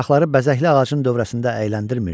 Uşaqları bəzəkli ağacın dövrəsində əyləndirmirdi.